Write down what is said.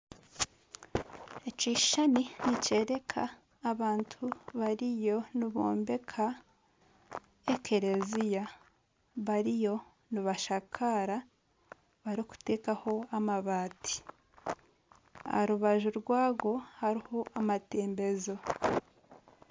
Ekishushani nikyoreka abantu bariyo nibombeka ekereziya bariyo nibashakaara barikuteekaho amabaati aha rubaju rwago hariho amatembezo